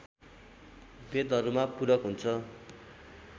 वेदहरूमा पूरक हुन्छ